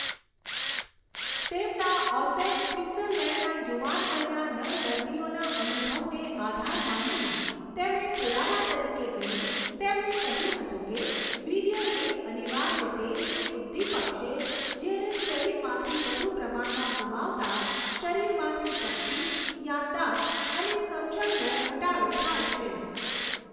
તેમના ઔસેન સ્વીત્ઝરલેંડના યુવાન વયના નર દર્દીઓના અનુભવને આધાર માનીને તેમણે પુરાવા તરીકે ગણી તેમણે કહ્યું હતું કે વીર્ય એક અનિવાર્ય તેલ કે ઉદ્દીપક છે જેને શરીરમાંથી વધુ પ્રમાણમાં ગુમાવતાં શરીરમાંથી શક્તિ, યાદદાસ્ત, અને સમજણનો ઘટાડો થાય છે